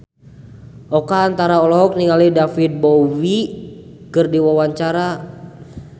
Oka Antara olohok ningali David Bowie keur diwawancara